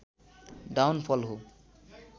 down फल हो